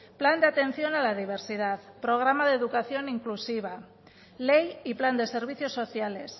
plan de atención a la diversidad programa de educación inclusiva ley y plan de servicios sociales